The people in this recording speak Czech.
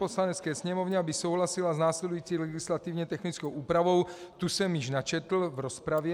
Poslanecké sněmovně, aby souhlasila s následující legislativně technickou úpravou - tu jsem již načetl v rozpravě.